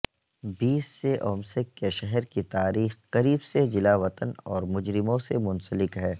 بیس سے اومسک کے شہر کی تاریخ قریب سے جلاوطن اور مجرموں سے منسلک ہے